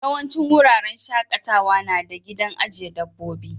Yawancin wuraren shakatawa na da gidan ajiye dabbobi.